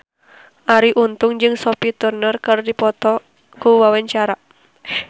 Arie Untung jeung Sophie Turner keur dipoto ku wartawan